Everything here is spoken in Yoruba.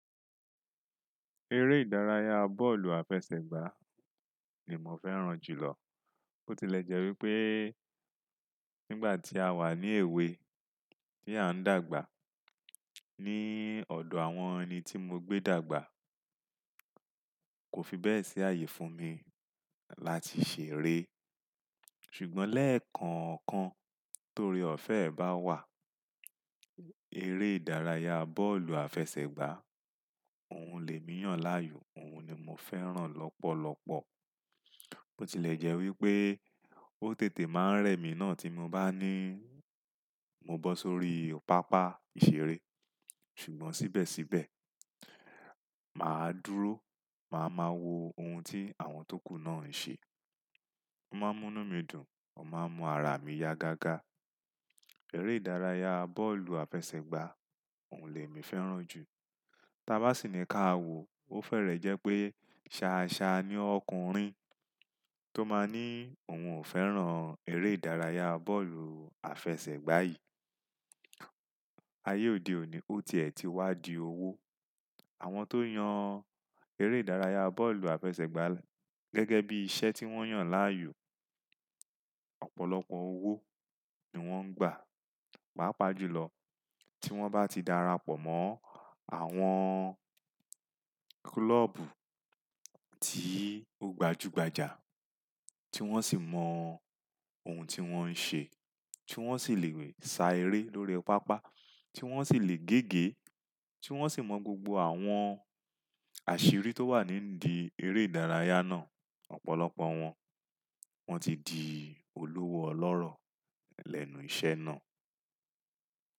Eré ìdarayà bọ́ọ̀lù àfẹsẹ̀ gba ni mo fẹ́ràn jù lọ bo ti lè jẹ́ wípé nígbà tí a wà ní èwe tí à ń dàgbà, ní ọ̀dọ̀ àwọn ẹni tí mo gbé dàgbà, kò fi bẹ́ẹ̀ sí ààyè fún mi láti ṣe eré. Ṣùgbọ́n lẹ́ẹ̀kan kan tore ọ̀fẹ́ ẹ̀ bá wà, eré ìdárayá bọ́ọ̀lù àfẹsẹ̀gbá òun lè mi yàn láàyò, òun ni mo fẹ́ràn lọ́pọ̀lọ́pọ̀. Bó ti le je wípé ó tètè má ń rẹ mí na tí mo bá ní mo bọ́sórí pápá ìṣeré. Ṣùgbọ́n síbẹ̀síbẹ̀, mà á dúró, mà á máa wo ohun tí àwọn tókù náà ń ṣe. Ó máa ń mú inú mi dùn, ó máa ń mú ara mi yá gágá. Eré ìdárayá bọ́ọ̀lù àfẹsẹ̀gbá òun lè mi fẹ́ràn jù. Taa bá sì ni ká a wò ó fẹ́rẹ̀ jẹ́ pé ṣáá ṣa ni ọkùnrin tó máa ní òun ò fẹ́ràn eré ìdárayá bọ́ọ̀lù àfẹsẹ̀gbá yìí. Ayé òde òní, ó ti ẹ̀ ti wá di owó. Àwọn tó yan eré ìdárayá bọ́ọ̀lù àfẹsẹ̀gbá gẹ́gẹ́ bí iṣẹ́ tí wọ́n yàn láàyò, ọ̀pọ̀lọpọ̀ owó ni wọ́n ń gbà, pàápàá jùlọ tí wọ́n bá ti darapọ̀ mọ́ àwọn kúlọ́ọ̀bù tí ó gbajúgbajà, tí wọ́n sì mọ ohun tí wọ́n ń ṣe, tí wọ́n sì lè sa eré lórí pápá, tí wọ́n sì lè géègé, tí wọ́n sì mọ gbogbo àwọn àṣírí tó wà nínú ìdí eré ìdárayá náà. Ọ̀pọ̀lọpọ̀ wọn, wọ́n ti di olówó ọlọ́rọ̀ lẹ́nu iṣẹ́ náà.